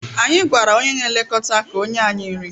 Anyị gwara onye na-elekọta ka o nye anyị nri